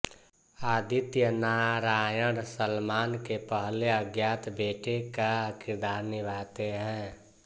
आदित्य नारायण सलमान के पहले अज्ञात बेटे का किरदार निभाते हैं